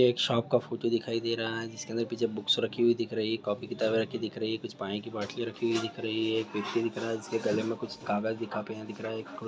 एक शॉप का फोटो दिखाई दे रहा है जिस के अंदर पीछे भूख राखी दिखाई दे रही है कॉपी किताबें रखी है पिच्य पानी की बोतल रखी दिख रही है वेक्ति दिख रहा है जिसके गले में कुछ कागज की कोपीअ देखनी है इसमें एक चश्मा लगाया हुआ दिख रहा है और उसके हाथ में कुछ धागे वाघ्य दिख रहे हैं|